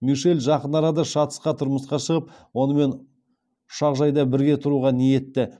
мишель жақын арада шацқа тұрмысқа шығып онымен ұшақжайда бірге тұруға ниетті